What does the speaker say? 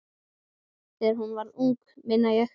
Þegar hún var ung, meina ég.